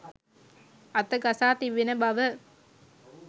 අත ගසා තිබෙන බව